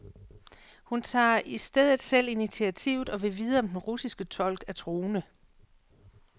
Hun tager i stedet selv initiativet og vil vide om den russiske tolk er troende.